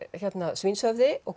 svínshöfði og